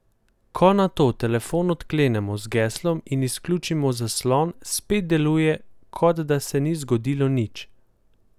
Ko nato telefon odklenemo z geslom in izključimo zaslon, spet deluje, kot da se ni zgodilo nič.